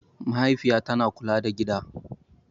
Mahaifiya tana kula da gida.